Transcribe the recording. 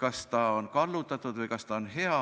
kas ta on kallutatud või kas ta on hea?